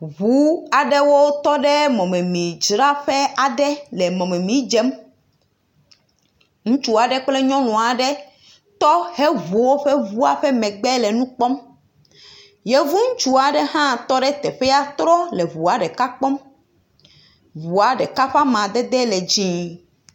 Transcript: Ŋu aɖewo tɔ ɖe mɔmemidzraƒe le mɔmemi dzem, ŋutsu aɖe kple nyɔnu aɖe woŋu woƒe ŋu megbe eye wole nu kpɔm, yevuŋutsu aɖe hã tɔ eye wole nu kpɔm. Ŋua ɖeka ƒe amadede le dzɛ̃.